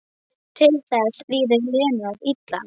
Til þess líður Lenu of illa.